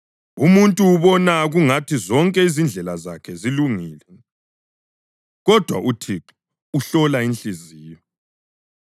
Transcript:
Umuntu ubona kungathi zonke izindlela zakhe zilungile, kodwa uThixo uhlola inhliziyo.